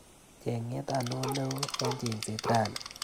Cheng'et anoo neoo eng chengset rani?